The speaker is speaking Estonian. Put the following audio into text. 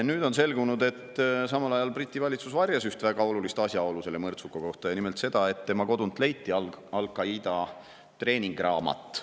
Nüüd on selgunud, et samal ajal Briti valitsus varjas üht väga olulist asjaolu selle mõrtsuka kohta, ja nimelt seda, et tema kodunt leiti Al Qaida treeninguraamat.